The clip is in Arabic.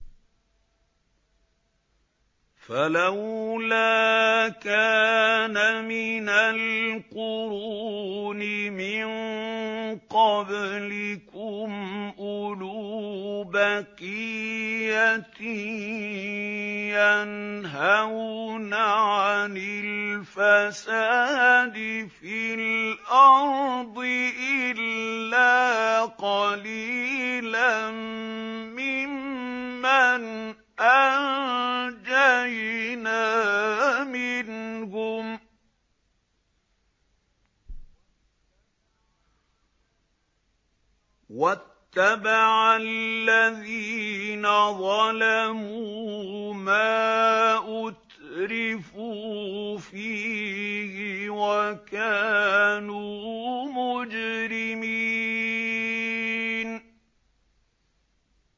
فَلَوْلَا كَانَ مِنَ الْقُرُونِ مِن قَبْلِكُمْ أُولُو بَقِيَّةٍ يَنْهَوْنَ عَنِ الْفَسَادِ فِي الْأَرْضِ إِلَّا قَلِيلًا مِّمَّنْ أَنجَيْنَا مِنْهُمْ ۗ وَاتَّبَعَ الَّذِينَ ظَلَمُوا مَا أُتْرِفُوا فِيهِ وَكَانُوا مُجْرِمِينَ